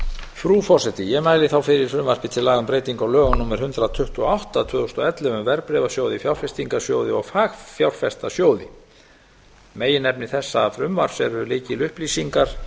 frú forseti ég mæli þá fyrir frumvarpi til laga um breyting á lögum númer hundrað tuttugu og átta tvö þúsund og ellefu um verðbréfasjóði fjárfestingarsjóði og fagfjárfestasjóði meginefni þessa frumvarps eru lykilupplýsingar